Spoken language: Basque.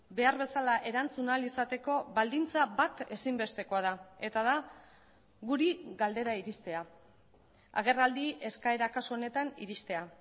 behar bezala erantzun ahal izateko baldintza bat ezinbestekoa da eta da guri galdera iristea agerraldi eskaera kasu honetan iristea